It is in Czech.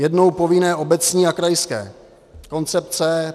Jednou povinné obecní a krajské koncepce.